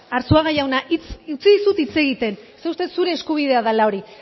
arzuaga jauna utzi dizut hitz egiten zeren zure eskubidea dela hori